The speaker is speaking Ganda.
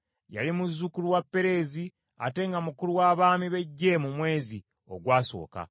Yali muzzukulu wa Perezi, ate nga mukulu w’abaami b’eggye mu mwezi ogwasooka